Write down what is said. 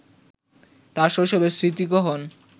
তাঁর শৈশবের স্মৃতিকহন